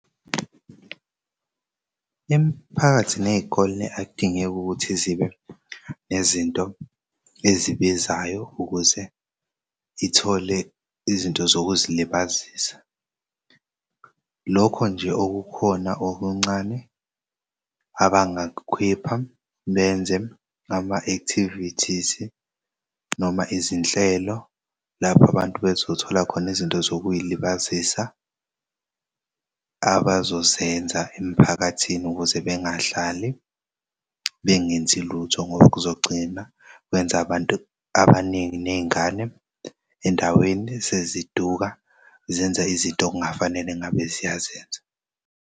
Imphakathi ney'kole akudingeki ukuthi zibe nezinto ezibizayo ukuze ithole izinto zokuzilibazisa. Lokho nje okukhona okuncane abangakukhipha benze ama-activities noma izinhlelo lapho abantu bezothola khona izinto zokuy'libazisa khona abazozenza emphakathini ukuze bengadlali bengenzi lutho ngoba kuzogcina kwenza abantu abaningi ney'ngane endaweni seziduka zenza izinto ekungafanele ngabe ziyazenza.